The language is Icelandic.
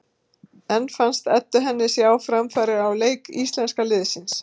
En fannst Eddu henni sjá framfarir á leik íslenska liðsins?